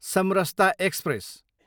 Samarsata express